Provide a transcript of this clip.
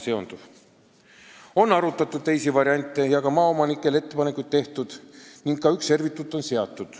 On arutatud teisigi variante ja maaomanikele on mitmesuguseid ettepanekuid tehtud, ka üks servituut on seatud.